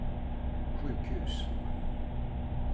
sjukhus